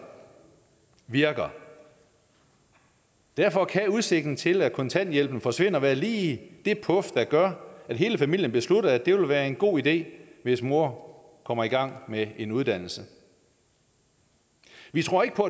virker derfor kan udsigten til at kontanthjælpen forsvinder være lige det puf der gør at hele familien beslutter at det vil være en god idé hvis mor kommer i gang med en uddannelse vi vi tror ikke på